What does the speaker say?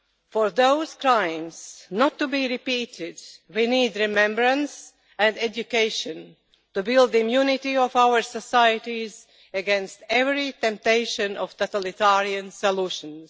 For those crimes not to be repeated, we need remembrance and education to build immunity for our societies against every temptation of totalitarian solutions.